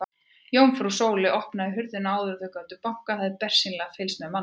Jómfrú Sóley opnaði hurðina áður en þau gátu bankað, hafði bersýnilega fylgst með mannaferðum.